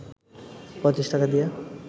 ৩৫ টাকা দিয়ে